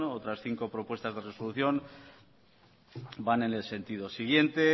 otras cinco propuestas de resolución van en el sentido siguiente